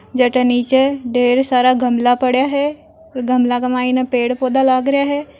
जका नीचे ढेर सारा गमला पड़ा है गमला के माये पड़े पौधा लाग रहा है।